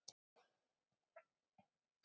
Guðmon, læstu útidyrunum.